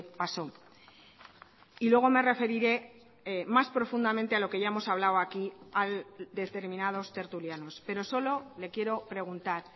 paso y luego me referiré más profundamente a lo que ya hemos hablado aquí a determinados tertulianos pero solo le quiero preguntar